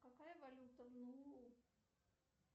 какая валюта в нуу